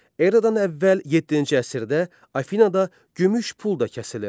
Eradan əvvəl yeddinci əsrdə Afinada gümüş pul da kəsilirdi.